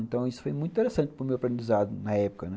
Então isso foi muito interessante para o meu aprendizado na época, né.